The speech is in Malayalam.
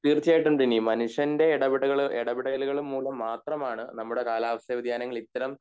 തീർച്ചയായിട്ടും ദിനി മനുഷ്യന്റെ എടപടകള് എടപെടലുകൾ മൂലം മാത്രം ആണ് നമ്മടെ കാലാവസ്ഥ വ്യതിയാനങ്ങൾ ഇത്തരം